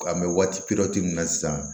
An bɛ waati min na sisan